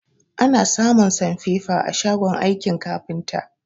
Ana samun sanfefa a shagon aikin kafinta